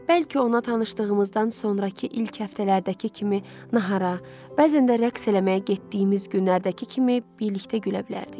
Bəlkə ona tanışdığımızdan sonrakı ilk həftələrdəki kimi nahara, bəzən də rəqs eləməyə getdiyimiz günlərdəki kimi birlikdə gülə bilərdik.